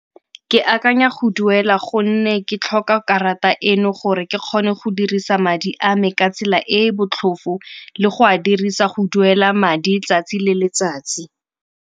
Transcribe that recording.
Ke akanya go duela gonne ke tlhoka karata eno gore ke kgone go dirisa madi a me ka tsela e e botlhofo le go a dirisa go duela madi 'tsatsi le letsatsi.